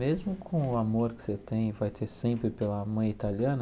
Mesmo com o amor que você tem e vai ter sempre pela mãe italiana,